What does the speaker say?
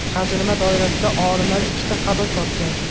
Qazilma doirasida olimlar ikkita qabr topgan.